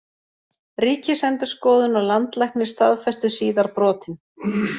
Ríkisendurskoðun og Landlæknir staðfestu síðar brotin